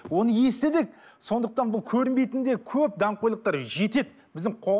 оны естідік сондықтан бұл көрінбейтін де көп даңғойлықтар жетеді біздің